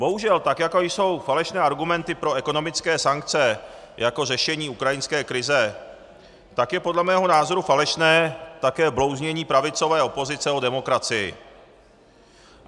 Bohužel tak jako jsou falešné argumenty pro ekonomické sankce jako řešení ukrajinské krize, tak je podle mého názoru falešné také blouznění pravicové opozice o demokracii.